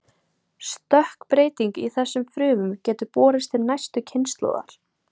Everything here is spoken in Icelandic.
Stökkbreyting í þessum frumum getur borist til næstu kynslóðar.